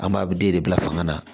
An b'a bɛɛ de bila fanga na